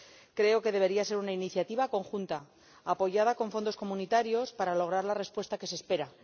Creo que debería ser una iniciativa conjunta, apoyada con fondos comunitarios, para lograr la respuesta que se espera.